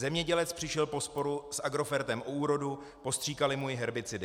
Zemědělec přišel po sporu s Agrofertem o úrodu, postříkali mu ji herbicidy.